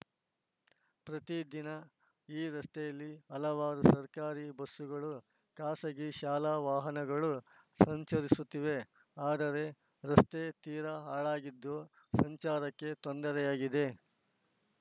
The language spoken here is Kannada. ಪ್ರತಿದಿನ ಈ ರಸ್ತೆಯಲ್ಲಿ ಹಲವಾರು ಸರ್ಕಾರಿ ಬಸ್ಸುಗಳು ಖಾಸಗಿ ಶಾಲಾ ವಾಹನಗಳು ಸಂಚರಿಸುತ್ತಿವೆ ಆದರೆ ರಸ್ತೆ ತೀರಾ ಹಾಳಾಗಿದ್ದು ಸಂಚಾರಕ್ಕೆ ತೊಂದರೆಯಾಗಿದೆ